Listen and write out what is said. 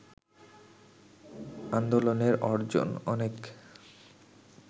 আন্দোলনের অর্জন অনেক